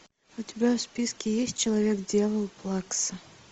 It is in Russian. у тебя в списке есть человек дьявол плакса